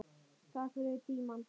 Takk fyrir tímann.